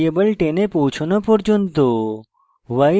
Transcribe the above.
count variable 10 এ পৌছনো পর্যন্ত